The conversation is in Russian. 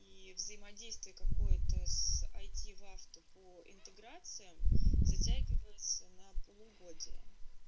и взаимодействие какое-то с айти вахту по интеграции затягивается на полугодие